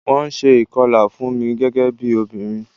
Wón ṣe ìkọlà fún mi, gẹ́gẹ́ bí obìnrin.